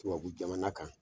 Tubabu jamana kan!